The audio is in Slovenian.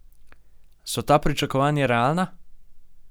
So ta pričakovanja realna?